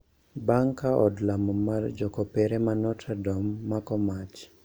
Bang`e ka od lamo mar jokopere ma Notre Dome mako mach